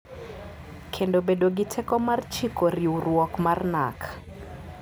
Kendo bedo gi teko mar chiko riwruok mar NaRC.